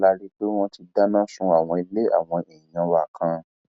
lẹyìn tí wọn lọ tán la rí i pé wọn ti dáná sun àwọn ilé àwọn èèyàn wa kan